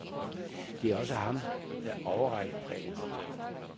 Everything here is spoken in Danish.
Det er også ham, der overrækker præmierne.